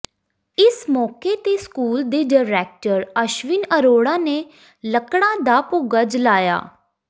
ਇਸ ਮੌਕੇ ਤੇ ਸਕੂਲ ਦੇ ਡਾਇਰੈਕਟਰ ਅਸ਼ਵਿਨ ਅਰੋੜਾ ਨੇ ਲੱਕੜਾਂ ਦਾ ਭੱੁਗਾ ਜਲਾਇਆ